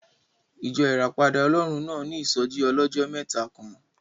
Ìjọ Ìràpadà Ọlọ́run náà ní ìsọ́jí ọlọ́jọ́ mẹ́ta kan